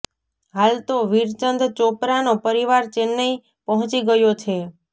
હાલ તો વીરચંદ ચોપરાનો પરિવાર ચેન્નાઇ પહોંચી ગયો છે